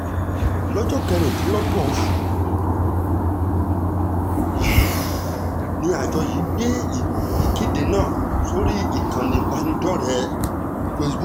lọ́jọ́ kejìdínlógún oṣù kẹrin ọdún yìí ni àjọ yìí gbé ìkéde náà sórí ìkànnì ìbánidọ́rẹ̀ẹ́ facebook wọn